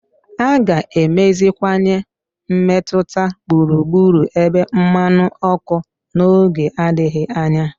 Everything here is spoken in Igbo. A ga-emeziwanye mmetụta gburugburu ebe mmanụ ọkụ n'oge adịghị anya.